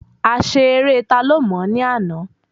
A ṣe eré ta ló mò ní àná